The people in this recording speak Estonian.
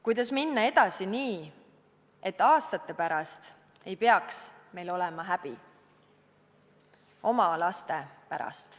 Kuidas minna edasi nii, et aastate pärast ei peaks meil olema häbi oma laste ees?